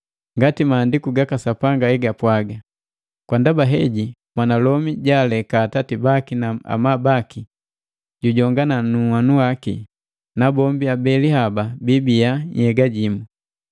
Ngati maandiku gaka Sapanga egapwaga “Kwa ndaba heji, mwanalomi jaaleka atati baki na amabu baki, jijongana nu nhanu waki, nabombi abeli haba biibiya nhyega jimu.”